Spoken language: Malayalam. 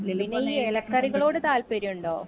പിന്നെ ഈ എല കറികളോട് താല്പര്യം ഉണ്ടോ